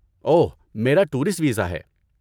اوہ، میرا tourist visa ہے۔